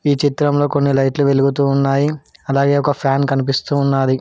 ఈ చిత్రంలో కొన్ని లైట్లు వెలుగుతూ ఉన్నాయి అలాగే ఒక ఫ్యాన్ కనిపిస్తూ ఉన్నాది.